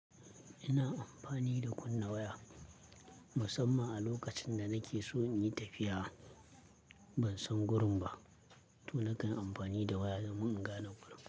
Ina amfani da kunna waya musamman a lokacin da nake so in yi tafiya. Ban san gurin ba, to nakan amfani da waya domin in gane gurin.